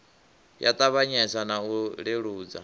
ya ṱavhanyesa na u leludza